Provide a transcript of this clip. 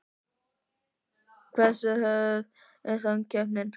Hversu hörð er samkeppnin?